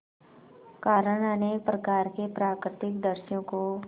कारण अनेक प्रकार के प्राकृतिक दृश्यों को